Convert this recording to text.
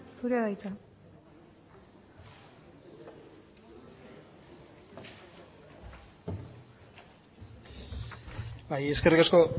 zurea da hitza bai eskerrik asko